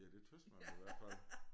Ja det tys man i hvert fald